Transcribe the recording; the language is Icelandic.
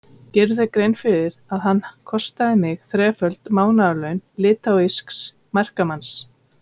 Gerirðu þér grein fyrir að hann kostaði mig þreföld mánaðarlaun litháísks verkamanns?